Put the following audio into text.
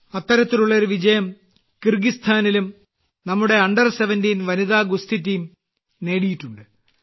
അത്തരത്തിലുള്ള ഒരു വിജയം കിർഗിസ്ഥാനിലും നമ്മുടെ അണ്ടർ 17 വനിതാ ഗുസ്തി ടീം നേടിയിട്ടുണ്ട്